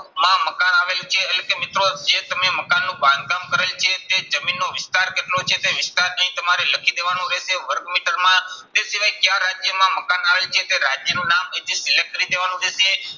માં મકાન આવેલ છે એટલે કે મિત્રો જે તમે મકાનનું બાંધકામ કરેલ છે તે જમીનનો વિસ્તાર કેટલો છે તે વિસ્તાર અહીં તમારે લખી દેવાનો રહેશે માં. તે સિવાય ક્યા રાજ્યમાં મકાન આવેલ છે તે રાજ્યનું નામ અહીંથી select કરી દેવાનું રહેશે,